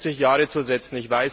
40 Jahre zu setzen.